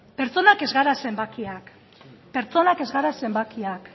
pertsonak ez gara zenbakiak pertsonak ez gara zenbakiak